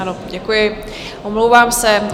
Ano, děkuji, omlouvám se.